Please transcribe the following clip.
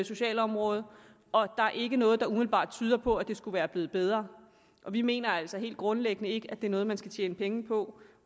sociale område og der er ikke noget der umiddelbart tyder på at det skulle være blevet bedre vi mener altså helt grundlæggende ikke at det er noget man skal tjene penge på